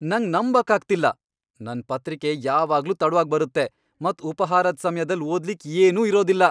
ನಂಗ್ ನಂಬಕ್ ಆಗ್ತಿಲ್ಲ! ನನ್ ಪತ್ರಿಕೆ ಯಾವಾಗ್ಲೂ ತಡ್ವಾಗಿ ಬರುತ್ತೆ , ಮತ್ ಉಪಾಹಾರದ್ ಸಮ್ಯದಲ್ ಓದ್ಲಿಕ್ ಏನೂ ಇರೋದಿಲ್ಲ.